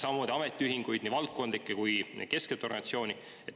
Samamoodi ametiühinguid, nii valdkondlikke kui ka keskset organisatsiooni?